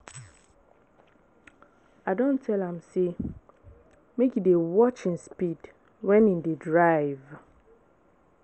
I don tell am sey make e dey watch im speed wen im dey drive.